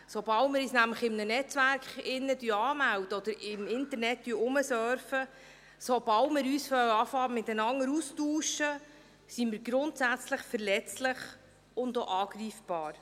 Sobald wir uns nämlich in einem Netzwerk anmelden oder im Internet herumsurfen, sobald wir beginnen, uns miteinander auszutauschen, sind wir grundsätzlich verletzlich und auch angreifbar.